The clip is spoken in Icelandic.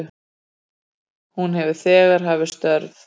Hún hefur þegar hafið störf